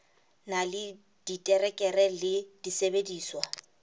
na le diterekere le disebediswa